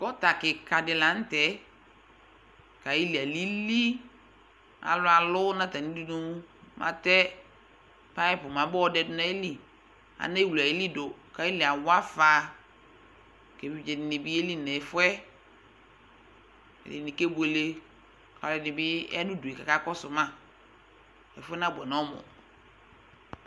Gɔta kɩka dɩ la nʋ tɛ kʋ ayili alili Alʋ alʋ nʋ atamɩ dunu mɛ atɛ payɩpʋ mɛ abayɔ dɛdʋ nʋ ayili Anewle ayili dʋ kʋ ayili awa afa kʋ evidze dɩnɩ bɩ yeli nʋ ɛfʋ yɛ kʋ ɛdɩnɩ kebuele kʋ alʋɛdɩnɩ bɩ ya nʋ udu yɛ kʋ akakɔsʋ ma Ɛfʋ yɛ nabʋɛ nʋ ɔmʋ